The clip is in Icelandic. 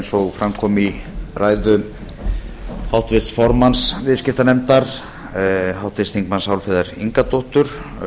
og fram kom í ræðu háttvirts formanns viðskiptanefndar háttvirtur þingmaður álfheiðar ingadóttur